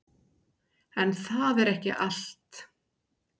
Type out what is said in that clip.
En það er ekki allt.